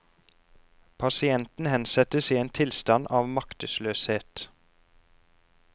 Pasienten hensettes i en tilstand av maktesløshet.